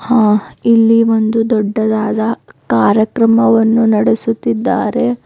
ಹಾ ಇಲ್ಲಿ ಒಂದು ದೊಡ್ಡದಾದ ಕಾರ್ಯಕ್ರಮವನ್ನು ನಡೆಸುತ್ತಿದ್ದಾರೆ.